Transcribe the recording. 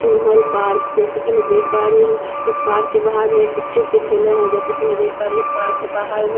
चिनहो park जैसे कि मैं देख पा रही हूं इस पार्क के बाहर में के ठेले है जैसे कि मैं देख पा रही हूं इस पार्क के बाहर बहुत --